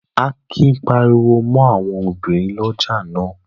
Akin pariwo mọ́ àwọn obìnrin ọlọ́jà náà?